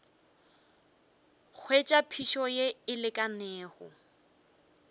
hwetša phišo ye e lekanego